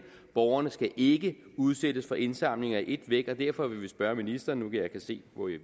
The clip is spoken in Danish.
borgerne skal ikke udsættes for indsamlinger i et væk og derfor vil vi spørge ministeren nu jeg kan se